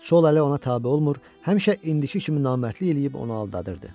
Sol əli ona tabe olmur, həmişə indiki kimi namərdlik eləyib onu aldadırdı.